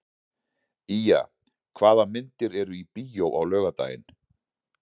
Ýja, hvaða myndir eru í bíó á laugardaginn?